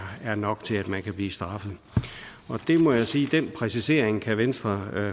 er nok til at man kan blive straffet og jeg må sige at den præcisering kan venstre